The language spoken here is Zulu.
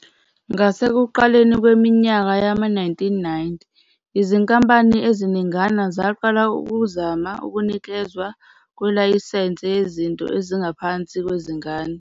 Ngasekuqaleni kweminyaka yama-1990, izinkampani eziningana zaqala ukuzama ukunikezwa kwelayisense yezinto ezingaphansi kwezingane.